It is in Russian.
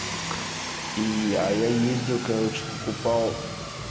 и а я ездил короче покупал